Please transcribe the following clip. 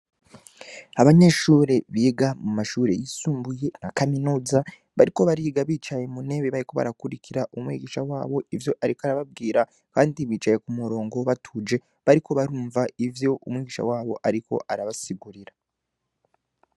Abanyeshuri biga mu mashure yisumbuye na kaminoza bariko bariga bicaye mu ntebe bariko barakurikira umwigisha wabo ivyo, ariko arababwira, kandi bicaye ku murongo batuje bariko barumva ivyo umwigisha wabo, ariko arabasigurira.